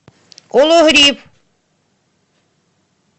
кологрив